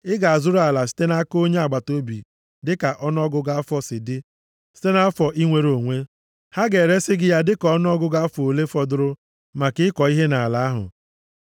Ị ga-azụrụ ala site nʼaka onye agbataobi dịka ọnụọgụgụ afọ si dị site nʼafọ inwere onwe. Ha ga-eresi gị ya dịka ọnụọgụgụ afọ ole fọdụrụ maka ịkọ ihe nʼala ahụ.